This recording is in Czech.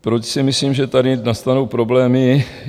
Proč si myslím, že tady nastanou problémy?